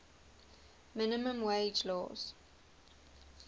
minimum wage laws